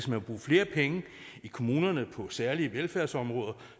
vil bruge flere penge i kommunerne på særlige velfærdsområder